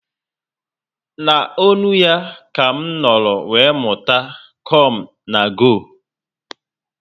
Na ọṅụ ya ka m nọrọ were mụta "come na go"